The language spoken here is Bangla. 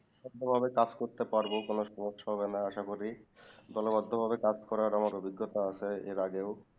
দলবদ্ধ ভাবে কাজ করতে পারবো কোনো সমস্যা হবে না আসা করি দলবদ্ধ করে কাজ করার আমার অভিজ্ঞতা আছে এর আগেও